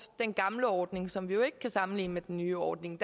den gamle ordning som vi jo ikke kan sammenligne med den nye ordning